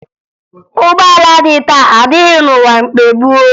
Ụgbọala dị taa adịghị n'ụwa mgbe gboo